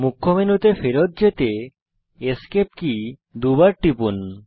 মুখ্য মেনুতে ফেরৎ যেতে এসকেপ কী দুইবার টিপুন